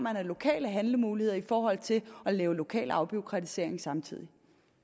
af lokale handlemuligheder i forhold til at lave lokal afbureaukratisering samtidig